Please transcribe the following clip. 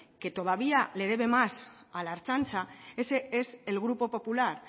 que todavía le debe más a la ertzaintza ese es el grupo popular